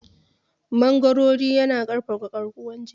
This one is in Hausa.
Mangoro yana ƙarfafa garkuwar jiki.